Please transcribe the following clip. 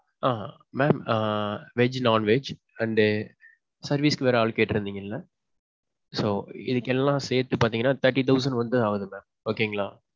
Ah. mam ah veg, non-veg and service க்கு வேற ஆளு கேட்டறிந்திங்கல? so, இதுக்கு எல்லாம் சேத்தி பாத்தீங்கன்னா thirty thousand வந்து ஆவுது mam okay ங்களா.